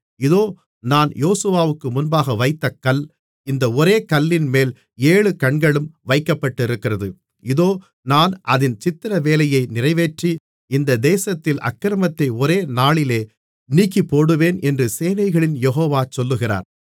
இதோ நான் யோசுவாவுக்கு முன்பாக வைத்த கல் இந்த ஒரே கல்லின்மேல் ஏழு கண்களும் வைக்கப்பட்டிருக்கிறது இதோ நான் அதின் சித்திரவேலையை நிறைவேற்றி இந்த தேசத்தில் அக்கிரமத்தை ஒரே நாளிலே நீக்கிப்போடுவேன் என்று சேனைகளின் யெகோவா சொல்லுகிறார்